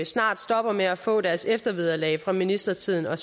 snart stopper med at få deres eftervederlag fra ministertiden og